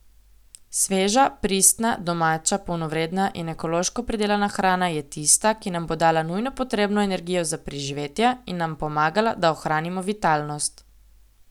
Sveža, pristna, domača, polnovredna in ekološko pridelana hrana je tista, ki nam bo dala nujno potrebno energijo za preživetje in nam pomagala, da ohranimo vitalnost.